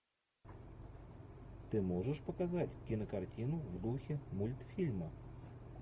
ты можешь показать кинокартину в духе мультфильма